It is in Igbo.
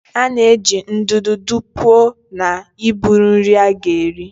A na-eji ndụdụ dụpuo na iburu nri a ga-eri.